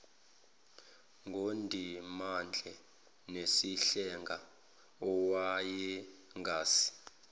ngundimande nesihlenga owayengase